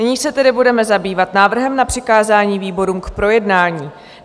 Nyní se tedy budeme zabývat návrhem na přikázání výborům k projednání.